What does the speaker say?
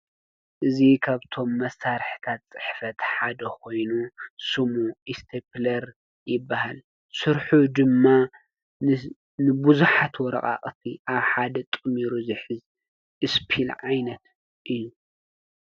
እዙ ኸብቶም መሳርሕታት ጽሕፈት ሓደ ኾይኑ ሱሙ ይስተብለር ይበሃል ሡርኁ ድማ ንብዙኃት ወረቓቕቲ ኣብ ሓደ ጥሚሩ ዙኂዝ ስፔል ዓይነት እዩ።